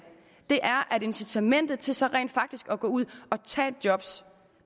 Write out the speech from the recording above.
er at incitamentet til så rent faktisk at gå ud og tage et job